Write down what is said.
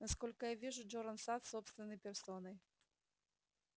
насколько я вижу джоран сатт собственной персоной